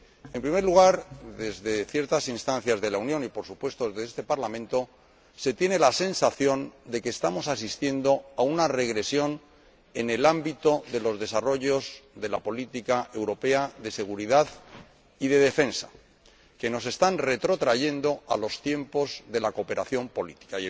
En primer lugar, desde ciertas instancias de la Unión y, por supuesto, desde este Parlamento, se tiene la sensación de que estamos asistiendo a una regresión en el ámbito de los desarrollos de la Política Europea de Seguridad y de Defensa que nos están retrotrayendo a los tiempos de la cooperación política.